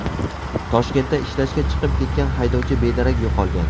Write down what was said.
Toshkentda ishlashga chiqib ketgan haydovchi bedarak yo‘qolgan.